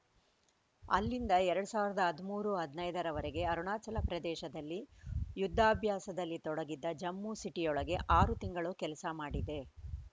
ಅಲ್ಲಿಂದ ಎರಡ್ ಸಾವಿರದ ಹದಿಮೂರು ಹದಿನೈದರವರೆಗೆ ಅರುಣಾಚಲ ಪ್ರದೇಶದಲ್ಲಿ ಯುದ್ಧಾಭ್ಯಾಸದಲ್ಲಿ ತೊಡಗಿದ್ದ ಜಮ್ಮು ಸಿಟಿಯೊಳಗೆ ಆರು ತಿಂಗಳು ಕೆಲಸ ಮಾಡಿದೆ